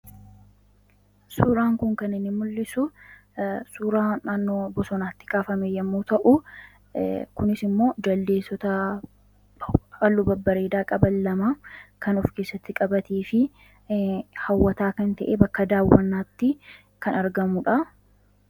suuraan kun kan mul'isu suuraa naannoo bosonaatti kaafame yemmuu ta'u, kunis ammoo jaldeessota halluu babbareedaa qaban lama kan of keessatti qabatuu fi hawwataa kan ta'e bakka daawwannaatti kan argamuudha.